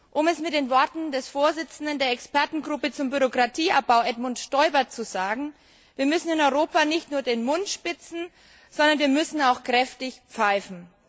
Um es mit den Worten des Vorsitzenden der Expertengruppe zum Bürokratieabbau, Edmund Stoiber, zu sagen Wir müssen in Europa nicht nur den Mund spitzen, wir müssen auch kräftig pfeifen.